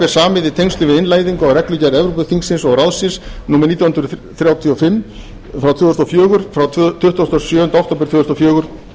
samið í tengslum við innleiðingu á reglugerð evrópuþingsins og ráðsins númer þrjátíu og fimm tvö þúsund og fjögur frá tuttugasta og sjöunda október tvö þúsund og fjögur